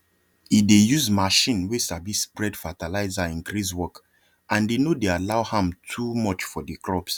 he dey use machine wey sabi spread fertilizer increase work and e no dey allow am too much for the crops